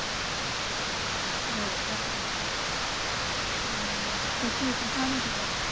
हो का? हम्म कशी होती छान होती का